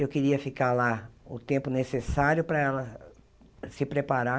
Eu queria ficar lá o tempo necessário para ela se preparar